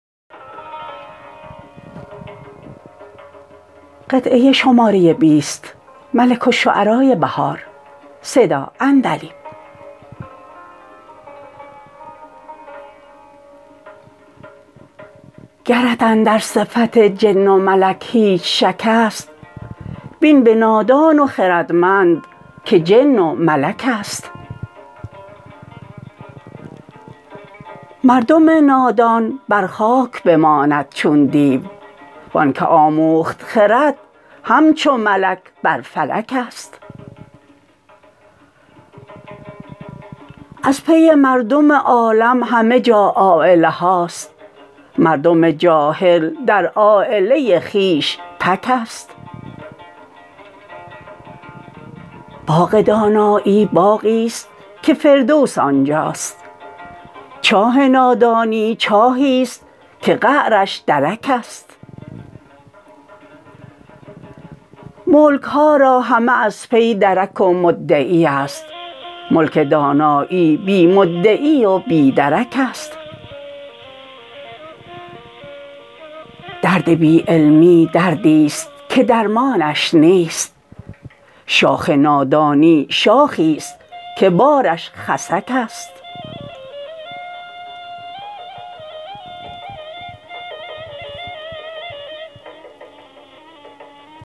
گرت اندر صفت جن و ملک هیچ شک است بین به نادان و خردمند که جن و ملک است مردم نادان بر خاک بماند چون دیو وآن که آموخت خرد همچو ملک بر فلک است از پی مردم عالم همه جا عایله هاست مردم جاهل در عایله خویش تک است باغ دانایی باغی است که فردوس آنجاست چاه نادانی چاهی است که قعرش درک است ملک ها را همه از پی درک و مدعی است ملک دانایی بی مدعی و بی درک است درد بی علمی دردی است که درمانش نیست شاخ نادانی شاخی است که بارش خسک است